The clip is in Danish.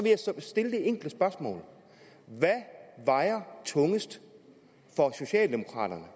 stille det enkle spørgsmål hvad vejer tungest for socialdemokraterne